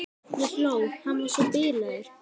Ég hló, hann var svo bilaður.